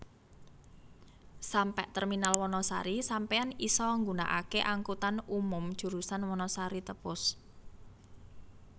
Sampe terminal Wanasari Sampeyan isa ngunaake angkutan umum jurusan Wanasari Tepus